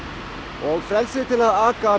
og frelsið til að aka